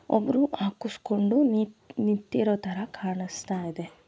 ಒಬ್ಬರು ಹಾಕೊಸ್ಕೊಂಡು ನಿಂತಿರೋ ತರ ಕಾಣಸ್ತಾಯಿದೆ.